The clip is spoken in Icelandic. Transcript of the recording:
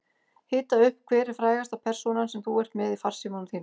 Hita upp Hver er frægasta persónan sem þú ert með í farsímanum þínum?